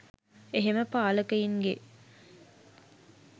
එහෙම පාලකයින්ගේ